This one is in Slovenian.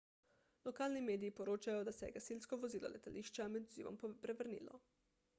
lokalni mediji poročajo da se je gasilsko vozilo letališča med odzivom prevrnilo